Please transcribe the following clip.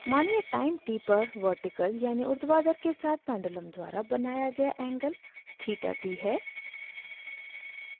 मानिये time t पर vertical यानि ऊर्ध्वाधर के साथ पेंडुलम द्वारा बनाया गया एंगल theta t है